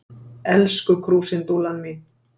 Elsku krúsindúllan mín.